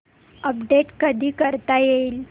update कधी करता येईल